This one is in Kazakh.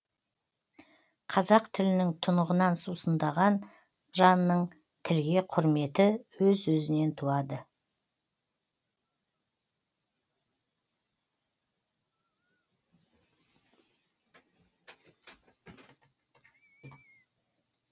қазақ тілінің тұнығынан сусындаған жанның тілге құрметі өз өзінен туады